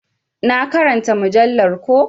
Na ƙaranta mujallar ko.